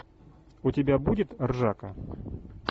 у тебя будет ржака